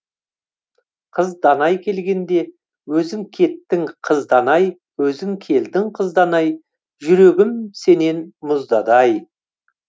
қыз данай келгенде өзің кеттің қыз данай өзің келдің қыз данай жүрегім сенен мұздады ай